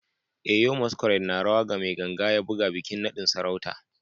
Eyo masquerade na rawa ga mai ganga ya buge bikin nadin sarauta